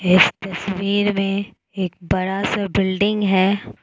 इस तस्वीर में एक बड़ा सा बिल्डिंग है।